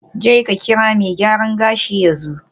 Jeka kira mai gyaran gashi yanzu.